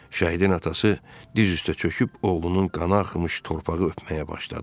Şəhidin atası diz üstə çöküb oğlunun qanı axımış torpağı öpməyə başladı.